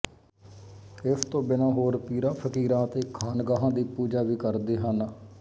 ਇਸ ਤੋਂ ਬਿਨ੍ਹਾਂ ਹੋਰ ਪੀਰਾਂ ਫ਼ਕੀਰਾਂ ਤੇ ਖਾਨਗਾਹਾਂ ਦੀ ਪੂਜਾ ਵੀ ਕਰਦੇ ਹਨ